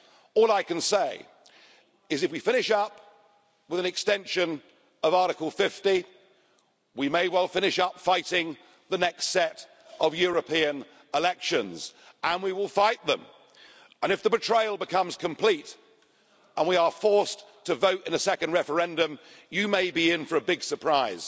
All I can say is that if we finish up with an extension of Article 50, we may well finish up fighting the next set of European elections, and we will fight them. If the betrayal becomes complete and we are forced to vote in a second referendum, you may be in for a big surprise.